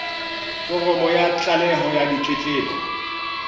foromo ya tlaleho ya ditletlebo